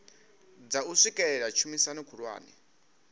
dza u swikelela tshumisano khulwane